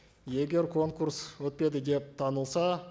егер конкурс өтпеді деп танылса